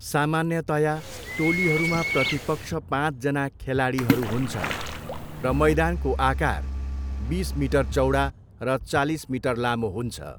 सामान्यतया, टोलीहरूमा प्रतिपक्ष पाँचजना खेलाडीहरू हुन्छन् र मैदानको आकार बिस मिटर चौडा र चालिस मिटर लामो हुन्छ।